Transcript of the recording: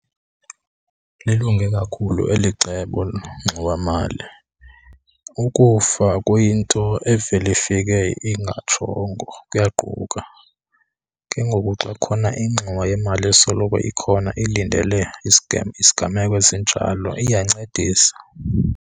Lilunge kakhulu eli cebo lengxowamali. Ukufa kuyinto evela ifike ingatshongo, kuyaquka. Ke ngoku xa kukhona ingxowa yemali esoloko ikhona ilindele isiganeko esinjalo iyancedisa.